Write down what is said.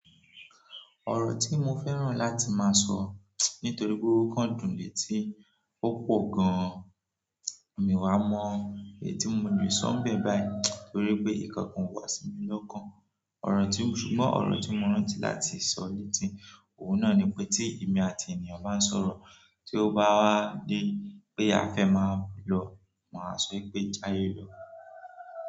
Ọ̀rọ̀ tí mo fẹ́ràn láti máa sọ, nítorí pé ó kándùn létí, ó pọ̀ gan-an, mi wá mọ èyí tí mo lè sọ bẹ́ẹ̀ báyìí torí pé ìkankan o wà sí mi lọ́kàn. Ọ̀rọ̀ tí, ṣùgbọ́n ọ̀rọ̀ tí mo rántí láti sọ létí, òun náà ni pé tí èmi àti ènìyàn bá ń sọ̀rọ̀, tí ó bá wá dé pé a fẹ́ máa lọ, màá sọ pé "jayé lọ".